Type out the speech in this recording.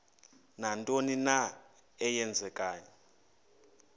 nantoni na eenzekayo